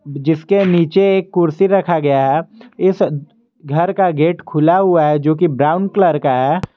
जिसके नीचे एक कुर्सी रखा गया है इस घर का गेट खुला हुआ है जो कि ब्राउन कलर का है।